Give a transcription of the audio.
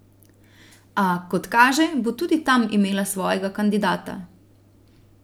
A, kot kaže, bo tudi tam imela svojega kandidata.